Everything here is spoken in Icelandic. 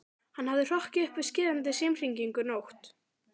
Hann hafði hrokkið upp við skerandi símhringingu nótt